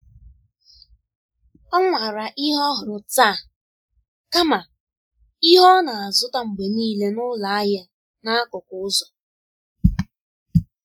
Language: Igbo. Ọ nwara ihe ọhụrụ taa kama ihe ọ na-azụta mgbe niile n’ụlọ ahịa n'akụkụ ụzọ.